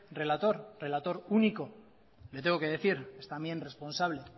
relator relator único le tengo que decir es también responsable